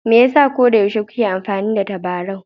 Me yasa koyaushe kuke amfani da tabarau?